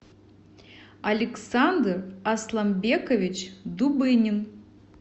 александр асланбекович дубынин